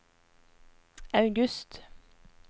august